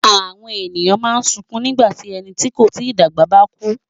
Àwọn ènìyàn máa ń sunkún nígbà tí ẹni tí kò tí dàgbà bá kú.